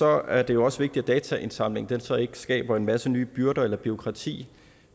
er det også vigtigt at dataindsamlingen så ikke skaber en masse nye byrder eller bureaukrati